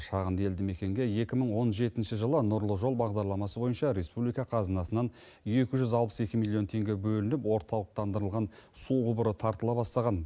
шағынды елді мекенге екі мың он жетінші жылы нұрлы жол бағдарламасы бойынша республика қазынасынан екі жүз алпыс екі миллион теңге бөлініп орталықтандырылған су құбыры тартыла бастаған